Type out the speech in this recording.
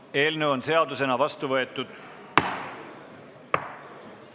Eelnõu on seadusena vastu võetud.